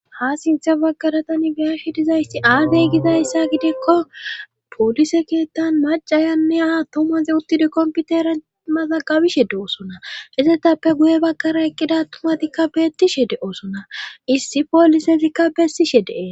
ha sintha bagkara tani biyashi dizaysti aadey gizayssa gidikko poolise keettan macayanne aa tomaze uttide komputera maza gabishe de7osona izetappe guye bakara eqqida tumatikka beettishe de7osona issi poolisezikka bessishe dee